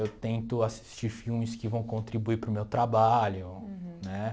Eu tento assistir filmes que vão contribuir para o meu trabalho. Uhum. Né